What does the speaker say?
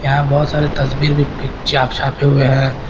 यहाँ बहुत सारे तस्वीर भी चा छापे हुए हैं।